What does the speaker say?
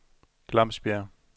Glamsbjerg